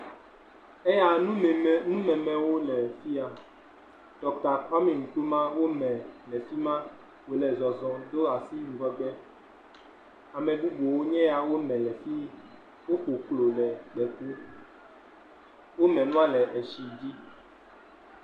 Eyaa, numeme, numemewo le fia. Ɖɔkta Kwami Nkrumah wome le fi ma. Wòle zɔzɔɔ do asi ŋgɔgbe. Ame bubuwo nye ya, wome le fii. Wodze klo le fii. Wome nua le etsi dzi.